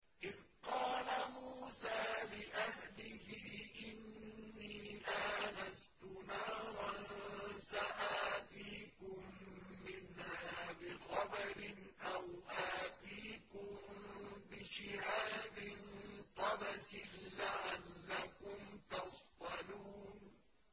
إِذْ قَالَ مُوسَىٰ لِأَهْلِهِ إِنِّي آنَسْتُ نَارًا سَآتِيكُم مِّنْهَا بِخَبَرٍ أَوْ آتِيكُم بِشِهَابٍ قَبَسٍ لَّعَلَّكُمْ تَصْطَلُونَ